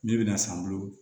Ne bɛna san n bolo